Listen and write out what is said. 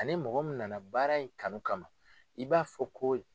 Ani mɔgɔ min nana baara in kanu kama i b'a fɔ ko.